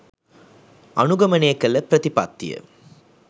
අනුගමනය කළ ප්‍රතිපත්තිය